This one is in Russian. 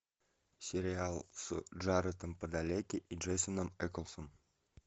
сериал с джаредом падалеки и дженсеном эклзом